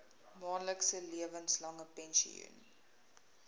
maandelikse lewenslange pensioen